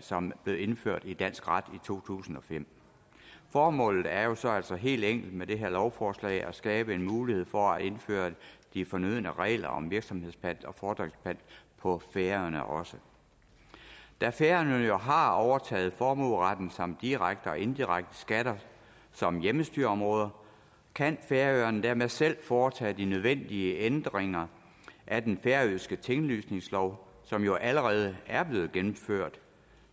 som blev indført i dansk ret i to tusind og fem formålet er jo så så helt enkelt med det her lovforslag at skabe en mulighed for at indføre de fornødne regler om virksomhedspant og fordringspant på færøerne også da færøerne jo har overtaget formueretten samt direkte og indirekte skatter som hjemmestyreområder kan færøerne dermed selv foretage de nødvendige ændringer af den færøske tinglysningslov som jo allerede er blevet gennemført